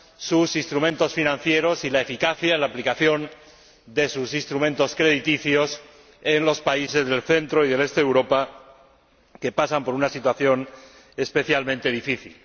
sus instrumentos financieros y la eficacia en la aplicación de sus instrumentos crediticios en los países del centro y del este de Europa, que pasan por una situación especialmente difícil.